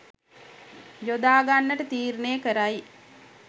යොදාගන්නට තීරණය කරයි.